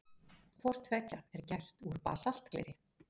Hvort tveggja er gert úr basaltgleri.